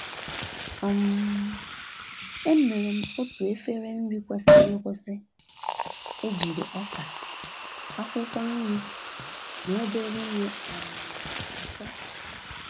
um Emere m otu efere nri kwesịrị ekwesị, ejiri ọka, akwụkwọ nri, na obere ihe um ụtọ.